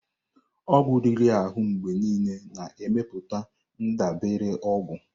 Ọgwụ riri ahụ mgbe niile na-emepụta ndabere ọgwụ.